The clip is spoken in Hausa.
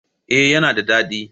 Eh yana da dadi.